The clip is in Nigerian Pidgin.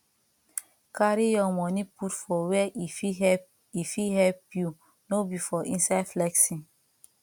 carry your money put for where e fit help e fit help you no be for inside flexing